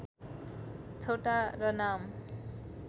छोटा र नाम